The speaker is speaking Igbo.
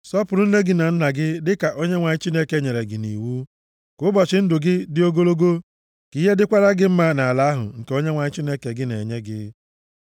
Sọpụrụ nne gị na nna gị, dịka Onyenwe anyị Chineke gị nyere gị nʼiwu, ka ụbọchị ndụ gị dị ogologo, ka ihe dịkwara gị mma nʼala ahụ nke Onyenwe anyị Chineke gị na-enye gị.